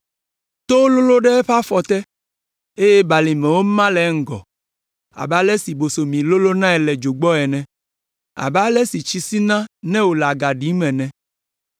Towo lolõ ɖe eƒe afɔ te, eye balimewo ma le eŋgɔ abe ale si bosomi lolõnae le dzo gbɔ ene; abe ale si tsi sina ne wòle aga ɖim ene.